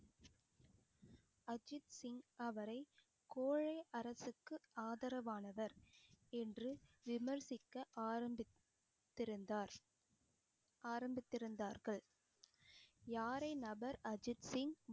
அஜித் சிங் அவரை கோழை அரசுக்கு ஆதரவானவர் என்று விமர்சிக்க ஆரம்பித்திருந்தார் ஆரம்பித்திருந்தார்கள் யாரை நபர் அஜித் சிங்